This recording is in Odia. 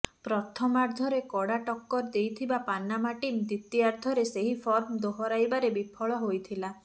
ପ୍ରଥମାର୍ଦ୍ଧରେ କଡା ଟକ୍କର ଦେଇଥିବା ପାନାମା ଟିମ୍ ଦ୍ୱିତୀୟାର୍ଦ୍ଧରେ ସେହି ଫର୍ମ ଦୋହରାଇବାରେ ବିଫଳ ହୋଇଥିଲା